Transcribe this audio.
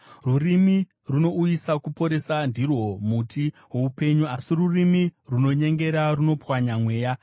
Rurimi runouyisa kuporesa ndirwo muti woupenyu, asi rurimi runonyengera runopwanya mweya.